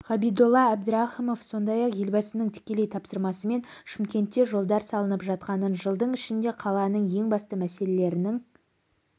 ғабидолла әбдірахымов сондай-ақ елбасының тікелей тапсырмасымен шымкентте жолдар салынып жатқанын жылдың ішінде қаланың ең басты мәселелерінің